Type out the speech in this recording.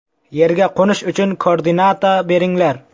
Yerga qo‘nish uchun koordinata beringlar!